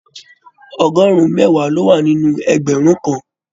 ọgọrun mẹwa ló wà nínú ẹgbẹrun kan.